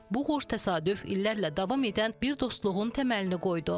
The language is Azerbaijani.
Bu xoş təsadüf illərlə davam edən bir dostluğun təməlini qoydu.